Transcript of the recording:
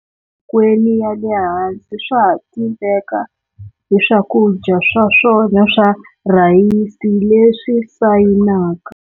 Kweni ya le hansi swa ha tiveka hi swakudya swa swona swa rhayisi leswi sayinaka.